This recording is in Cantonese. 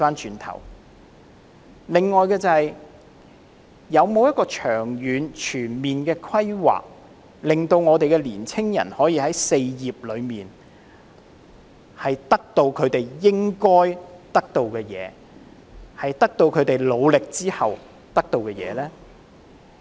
此外，政府有否長遠和全面的規劃，令年青人可以在"四業"中，得到他們在付出努力後應該得到的東西呢？